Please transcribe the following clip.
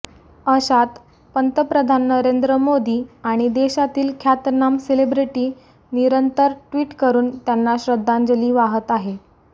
अशात पंतप्रधान नरेंद्र मोदी आणि देशातील ख्यातनाम सेलिब्रिटी निरंतर ट्विट करून त्यांना श्रद्धांजली वाहत आहे